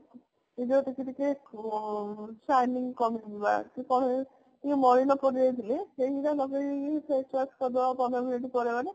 ସେଟା ଟିକେ ଟିକେ shining କମିଯିବ ସେ କଣ ହୁଏ ଟିକେ ମଳିନ ପଡିଯାଇଥିଲେ ସେଇଗୁଡା ଲଗେଇ କି face wash କରିଦେବା ପନ୍ଦର minute ପରେ ମାନେ